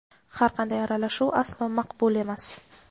har qanday aralashuv aslo maqbul emas.